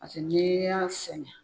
Paseke ni y'a sɛnɛ